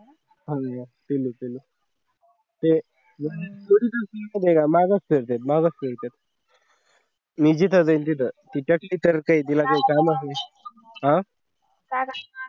हे मगच करते मागास करते मी जाईन तिथं तिथली तिला काही काम हवे ना